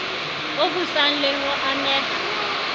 o busang le ho ameha